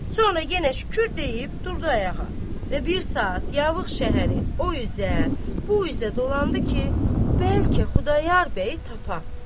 Sonra yenə şükür deyib durdu ayağa və bir saat Yavıq şəhəri o üzə, bu üzə dolandı ki, bəlkə Xudayar bəyi tapa.